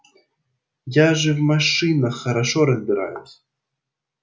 я же в машинах хорошо разбираюсь